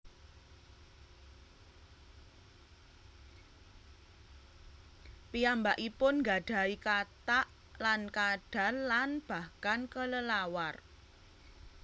Piyambakipun nggadahi katak lan kadal lan bahkan kelelawar